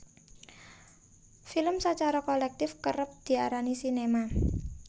Film sacara kolèktif kérép diarani sinéma